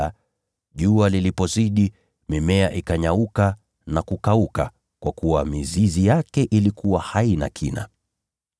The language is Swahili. Lakini jua lilipozidi, mimea ikanyauka na kukauka kwa kuwa mizizi yake haikuwa na kina.